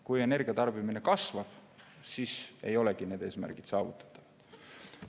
Kui energia tarbimine kasvab, siis ei olegi need eesmärgid saavutatavad.